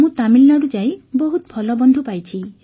ମୁଁ ତାମିଲନାଡୁ ଯାଇ ବହୁତ ଭଲ ବନ୍ଧୁ ପାଇଛି